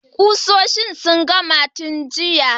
Kusoshin sun gama tun jiya.